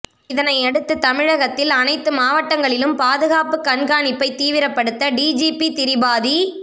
இதனையடுத்து தமிழகத்தில் அனைத்து மாவட்டங்களிலும் பாதுகாப்பு கண்காணிப்பை தீவிரப்படுத்த டிஜிபி திரிபாதி